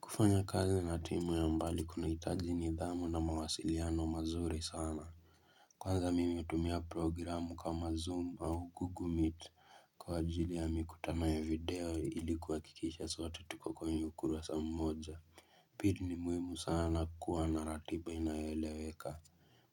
Kufanya kazi na timu ya mbali kunahitaji nidhamu na mawasiliano mazuri sana Kwanza mimi hutumia programu kama zoom au google meet kwa ajili ya mikutano ya video ili kuhakikisha sote tuko kwenye ukurasa mmoja Pili ni muhimu sana kuwa na ratiba inayoeleweka